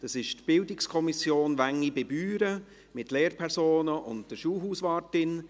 Es handelt sich um die Bildungskommission Wengi bei Büren mit Lehrpersonen und der Schulhauswartin.